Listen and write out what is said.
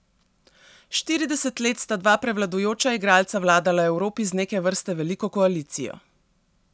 Štirideset let sta dva prevladujoča igralca vladala Evropi z neke vrste veliko koalicijo.